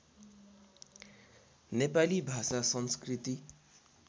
नेपाली भाषा संस्कृति